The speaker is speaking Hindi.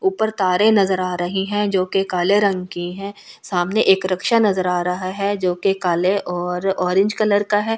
ऊपर तारें नजर आ रही हैं जो कि काले रंग की हैं सामने एक रक्षा नजर आ रहा है जो कि काले और ऑरेंज कलर का है।